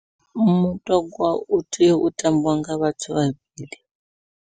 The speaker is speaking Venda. Mutogwa u tea u tambiwa nga vhathu vhavhili.